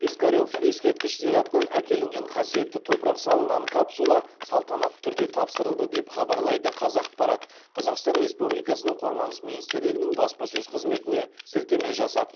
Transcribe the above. пискарев ескерткіш зиратынан әкелінген қасиетті топырақ салынған капсула салтанатты түрде тапсырылды деп хабарлайды қазақпарат қазақстан республикасының қорғаныс министрлігінің баспасөз қызметіне сілтеме жасап